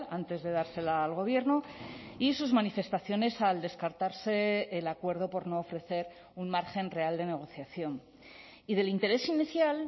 antes de dársela al gobierno y sus manifestaciones al descartarse el acuerdo por no ofrecer un margen real de negociación y del interés inicial